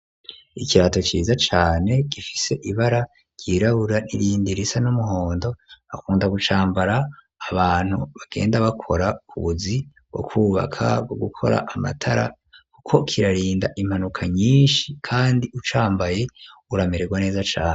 Ikirato ciza cane gifise ibara ryirabura n'irindi risa n'umuhondo akunda gucambara abantu bagenda bakora kubuzi bwo kubaka gukora amatara kuko kirarinda impanuka nyinshi kandi ucambaye urameregwa neza cane.